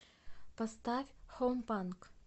поставь хоум панк